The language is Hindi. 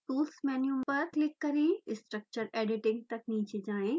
tools मेन्यू पर क्लिक करें structure editing तक नीचे जाएँ